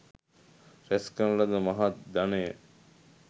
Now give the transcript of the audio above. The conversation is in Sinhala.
රැස් කරන ලද මහත් ධනය